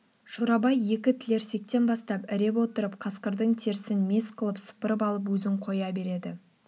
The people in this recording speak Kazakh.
шорабай екі тілерсектен бастап іреп отырып қасқырдың терісін мес қылып сыпырып алып өзін қоя береді